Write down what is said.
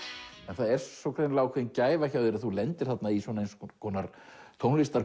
það er svo greinilega gæfa hjá þér að þú lendir þarna í eins konar